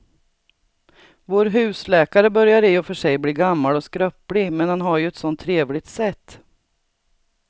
Vår husläkare börjar i och för sig bli gammal och skröplig, men han har ju ett sådant trevligt sätt!